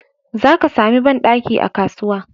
Zaka sami banɗaki a kasuwa.